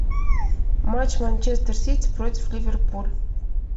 матч манчестер сити против ливерпуль